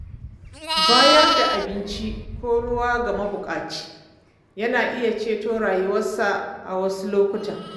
Bayar da abinci ko ruwa ga mabuƙaci ka iya ceto rayuwarsa a wasu lokuta.